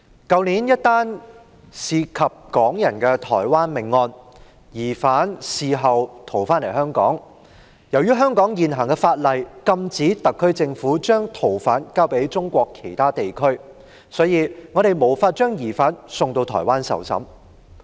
去年一宗涉及港人的台灣命案，疑犯事後逃回香港，由於香港現行法例禁止特區政府把逃犯交給中國其他地區，因此我們無法把疑犯送往台灣受審。